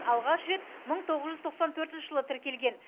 алғаш рет мың тоғыз жүз тоқсан төртінші жылы тіркелген